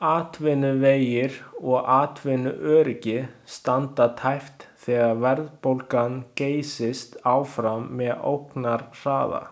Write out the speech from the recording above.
Atvinnuvegir og atvinnuöryggi standa tæpt þegar verðbólgan geysist áfram með ógnarhraða.